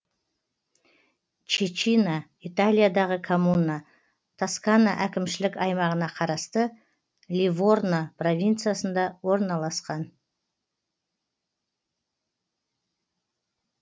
чечина италиядағы коммуна тоскана әкімшілік аймағына қарасты ливорно провинциясында орналасқан